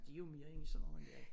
De jo mere inde i sådan noget dér